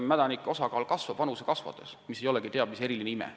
Mädanike osakaal kasvab puistu vanuse kasvades – see ei ole teab mis eriline ime.